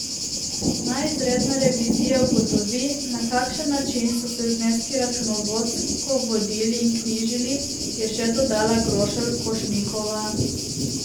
Naj izredna revizija ugotovi, na kakšen način so se zneski računovodsko vodili in knjižili, je še dodala Grošelj Košnikova.